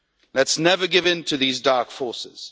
Let us never give in to these dark forces.